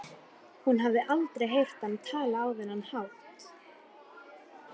Hún hafði aldrei heyrt hann tala á þennan hátt.